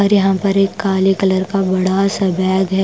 और यहां पर एक काले कलर का बड़ा सा बैग है ।